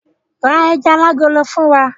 Ra ejà alágolo fún wa!